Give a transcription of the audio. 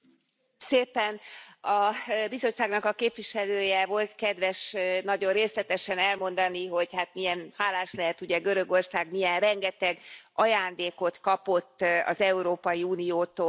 Elnök Úr! A Bizottságnak a képviselője volt kedves nagyon részletesen elmondani, hogy hát milyen hálás lehet, ugye, Görögország, milyen rengeteg ajándékot kapott az Európai Uniótól.